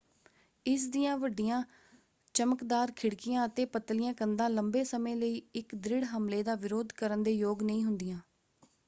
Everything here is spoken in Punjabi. ਇਸ ਦੀਆਂ ਵੱਡੀਆਂ ਚਮਕਦਾਰ ਖਿੜਕੀਆਂ ਅਤੇ ਪਤਲੀਆਂ ਕੰਧਾਂ ਲੰਬੇ ਸਮੇਂ ਲਈ ਇੱਕ ਦ੍ਰਿੜ ਹਮਲੇ ਦਾ ਵਿਰੋਧ ਕਰਨ ਦੇ ਯੋਗ ਨਹੀਂ ਹੁੰਦੀਆਂ।